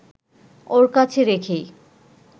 ওর কাছে রেখেই